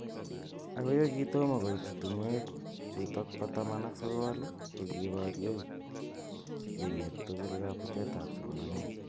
Ako yekitomo koit tungwek chutok ba taman ak sokol , ko kibaryeiemet tugul kabutet ab somanet.